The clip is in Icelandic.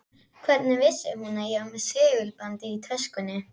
Hvernig vissi hún að ég var með segulband í töskunni?